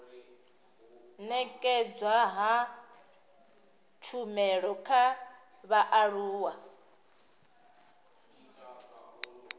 nekedzwa ha tshumelo kha vhaaluwa